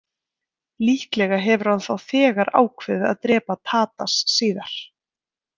Líklega hefur hann þá þegar ákveðið að drepa Tadas síðar.